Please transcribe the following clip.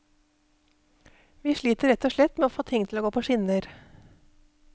Vi sliter rett og slett med å få ting til å gå på skinner.